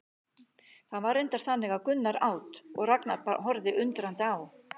Það var reyndar þannig að Gunnar át og Ragnar horfði undrandi á.